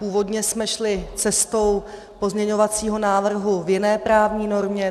Původně jsme šli cestou pozměňovacího návrhu v jiné právní normě.